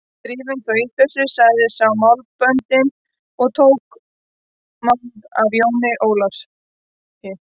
Drífum þá í þessu, sagði sá með málböndin og tók mál af Jóni Ólafi.